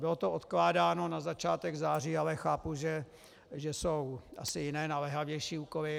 Bylo to odkládáno na začátek září, ale chápu, že jsou asi jiné naléhavější úkoly.